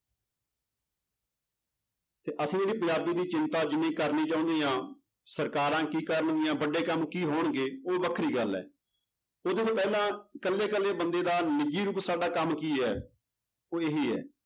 ਤੇ ਅਸੀਂ ਪੰਜਾਬੀ ਦੀ ਚਿੰਤਾ ਜਿੰਨੀ ਕਰਨੀ ਚਾਹੁੰਦੇ ਹਾਂ ਸਰਕਾਰਾਂ ਕੀ ਕਰਨਗੀਆਂ ਵੱਡੇ ਕੰਮ ਕੀ ਹੋਣਗੇ ਉਹ ਵੱਖਰੀ ਗੱਲ ਹੈ ਇਹਦੇ ਤੋਂ ਪਹਿਲਾਂ ਇਕੱਲੇ ਇਕੱਲੇ ਬੰਦੇ ਦਾ ਨਿੱਜੀ ਰੂਪ ਸਾਡਾ ਕੰਮ ਕੀ ਹੈ ਉਹ ਇਹ ਹੈ